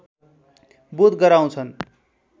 बोध गराउँछन्